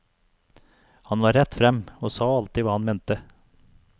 Han var rett frem, og sa alltid hva han mente.